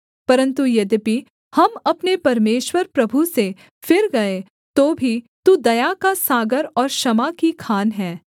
परन्तु यद्यपि हम अपने परमेश्वर प्रभु से फिर गए तो भी तू दया का सागर और क्षमा की खान है